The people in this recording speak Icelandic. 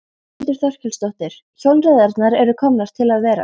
Þórhildur Þorkelsdóttir: Hjólreiðarnar eru komnar til að vera?